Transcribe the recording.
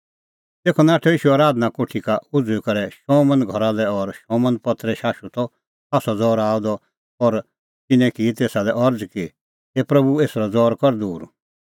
तेखअ नाठअ ईशू आराधना कोठी का उझ़ुई करै शमौने घरा लै और शमौन पतरसे शाशुई त खास्सअ ज़ौर आअ द और तिन्नैं की तेसा लै अरज़ कि हे प्रभू एसरअ ज़ौर कर दूर